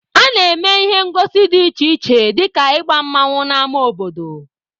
A na-eme ihe ngosi dị iche iche dịka ịgba mmanwụ n'ama obodo.